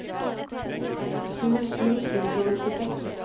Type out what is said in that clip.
tjuesju tusen og nittiseks